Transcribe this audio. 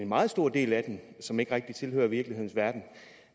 meget stor del af den som ikke rigtig tilhører virkelighedens verden